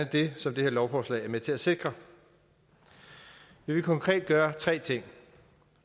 det som det her lovforslag er med til at sikre vi vil konkret gøre tre ting